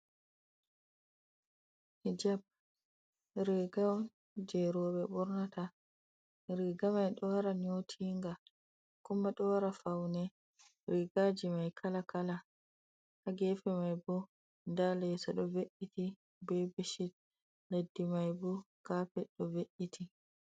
Hijab riiga on jey rowɓe ɓornata, riiga may ɗo wara nyootinga, kuma ɗo wara fawne riigaaji may kala kala. Haa geefe may bo, ndaa leeso, ɗo ve’’iti be becit, leddi may bo, kaapet ɗo ve’’iti.